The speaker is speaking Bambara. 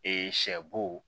Ee sɛ bo